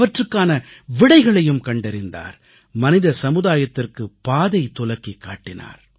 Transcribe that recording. அவற்றுக்கான விடைகளையும் கண்டறிந்தார் மனித சமுதாயத்திற்கு பாதை துலக்கிக் காட்டினார்